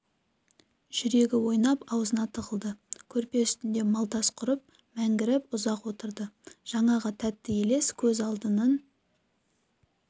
жүрегі ойнап аузына тығылды көрпе үстінде малдас құрып мәңгіріп ұзақ отырды жаңағы тәтті елес көз алдынан